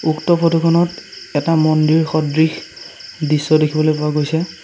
উক্ত ফটো খনত এটা মন্দিৰ সদৃশ দৃশ্য দেখিবলৈ পোৱা গৈছে।